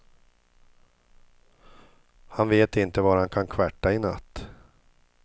Han vet inte var han kan kvarta i natt.